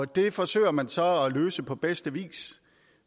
det forsøger man så at løse på bedste vis